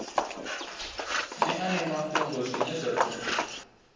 ṅeane mafhungo zwine zwa ḓo